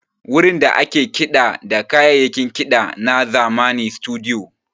Wurin da ake kiɗa da kayayyakin kiɗa na zamani Situdiyo.